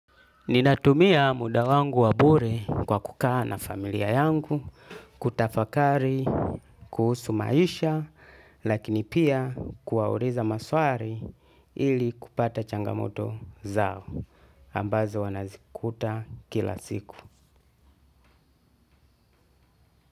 Ninatumia muda wangu wa bure kwa kukaa na familia yangu kutafakari kuhusu maisha lakini pia kuwauliza maswali ili kupata changamoto zao ambazo wanazikuta kila siku.